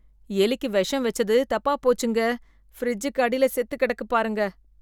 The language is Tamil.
எலிக்கு விஷம் வெச்சது தப்பா போச்சுங்க, ஃபிரிட்ஜ்க்கு அடியில செத்துக் கெடக்குப் பாருங்க,